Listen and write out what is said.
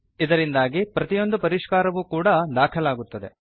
ಇದರಿಂದಾಗಿ ಪ್ರತಿಯೊಂದು ಪರಿಷ್ಕಾರವೂ ಕೂಡಾ ದಾಖಲಾಗುತ್ತದೆ